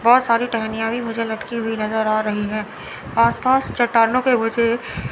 बहोत सारी टहनियां भी मुझे लटकी हुई नजर आ रही है। आसपास चट्टानों के वजह--